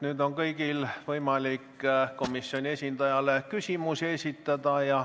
Nüüd on kõigil võimalik komisjoni esindajale küsimusi esitada.